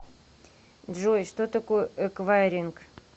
джой что такое эквайринг